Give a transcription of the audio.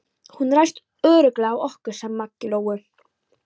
Hún ræðst örugglega á okkur, sagði Maggi Lóu.